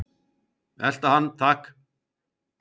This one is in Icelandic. Elta hann takk!